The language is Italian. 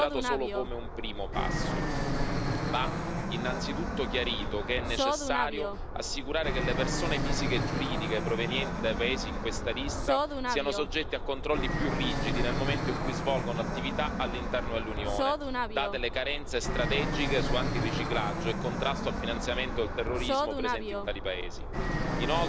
giusta direzione ma va considerato solo come un primo passo. Va innanzitutto chiarito che è necessario assicurare che le persone fisiche e giuridiche provenienti dai paesi in questa lista siano soggette a controlli più rigidi nel momento in cui svolgono attività all'interno dell'Unione, date le carenze strategiche su antiriciclaggio e contrasto al finanziamento del terrorismo presenti in